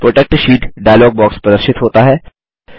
protect sheet dialog प्रदर्शित होता है